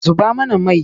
Zuba mana mai!